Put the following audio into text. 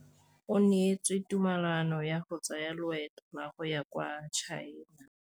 O neetswe tumalanô ya go tsaya loetô la go ya kwa China.